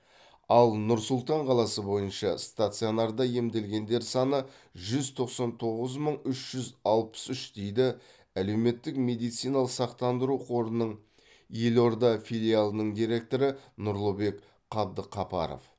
ал нұр сұлтан қаласы бойынша стационарда емделгендер саны жүз тоқсан тоғыз мың үш жүз алпыс үш дейді әлеуметтік медициналық сақтандыру қорының елорда филиалының директоры нұрлыбек қабдықапаров